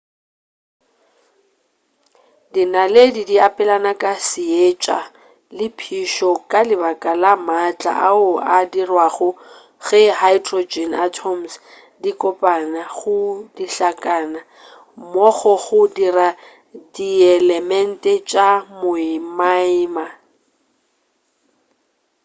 dinaledi di abelana ka seetša le phišo ka lebaka la maatla ao a dirwago ge hydrogen atoms di kopana go dihlakana mmogo go dira dielemente tša moimaima